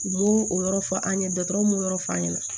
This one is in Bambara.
U b'o o yɔrɔ fɔ an ye dɔgɔtɔrɔw m'o yɔrɔ f'an ɲɛna